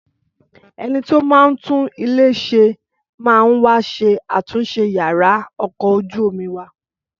Ẹnití ó máa ń tún ilé ṣe máa wá ṣe àtúnṣe yàrá ọkọ̀ ojú omi wa